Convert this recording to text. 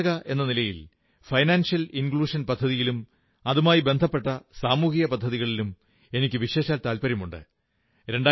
ഒരു ഗവേഷക എന്ന നിലയിൽ സാമ്പത്തിക സംശ്ലേഷണ പദ്ധതിയിലും അതുമായി ബന്ധപ്പെട്ട സാമൂഹിക പദ്ധതികളിലും എനിക്കു വിശേഷാൽ താത്പര്യമുണ്ട്